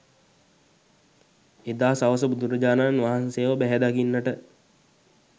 එදා සවස බුදුරජාණන් වහන්සේව බැහැදකින්නට